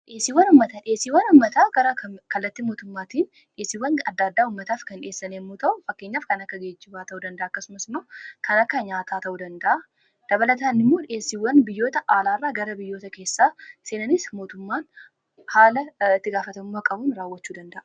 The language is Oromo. Dhiyeessiiwwan ummataa gara kallatti mootummaatiin dheesiwwan adda addaa ummataaf kan dhiyeessan yammuu ta'u fakkeenyaaf kan akka geejibaa ta'u danda'a akkasumas moo kan akka nyaataa ta'u danda'a dabalataan immoo dhiyeessiiwwan biyyoota aalaa irraa gara biyyoota keessaa seenanis mootummaan haala ittigaafatamummaa qabuun raawwachuu danda'a.